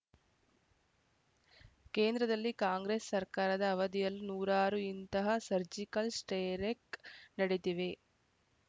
ಕೇಂದ್ರದಲ್ಲಿ ಕಾಂಗ್ರೆಸ್‌ ಸರ್ಕಾರದ ಅವಧಿಯಲ್ಲೂ ನೂರಾರು ಇಂತಹ ಸರ್ಜಿಕಲ್‌ ಸ್ಟೆ್ರೖಕ್‌ ನಡೆದಿವೆ